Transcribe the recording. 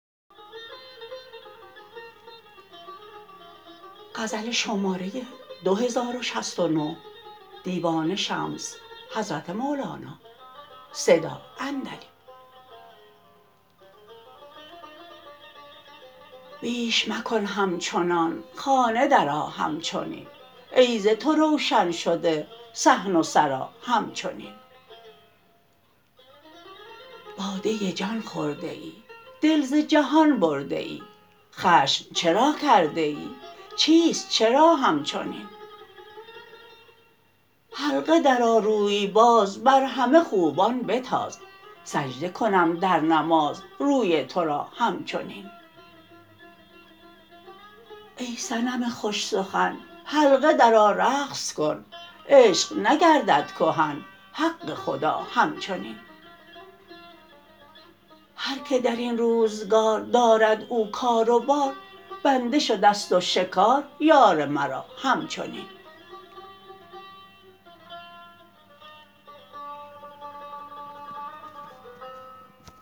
بیش مکن همچنان خانه درآ همچنین ای ز تو روشن شده صحن و سرا همچنین باده جان خورده ای دل ز جهان برده ای خشم چرا کرده ای چیست چرا همچنین حلقه درآ روی باز بر همه خوبان بتاز سجده کنم در نماز روی تو را همچنین ای صنم خوش سخن حلقه درآ رقص کن عشق نگردد کهن حق خدا همچنین هر که در این روزگار دارد او کار بار بنده شده ست و شکار یار مرا همچنین